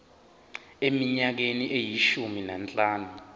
eminyakeni eyishumi nanhlanu